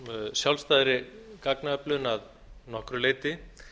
sjálfstæðri gagnaöflun að nokkru leyti